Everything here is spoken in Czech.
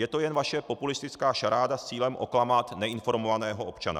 Je to jen vaše populistická šaráda s cílem oklamat neinformovaného občana.